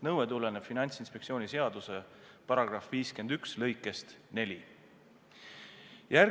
Nõue tuleneb Finantsinspektsiooni seaduse § 51 lõikest 4.